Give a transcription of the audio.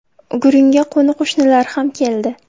Gurungga qo‘ni-qo‘shnilar ham keldi.